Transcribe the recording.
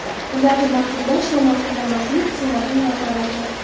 Ularni ma’qullash yo ma’qullashmaslik – Senatning vakolati.